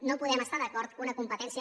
no podem estar d’acord que una competència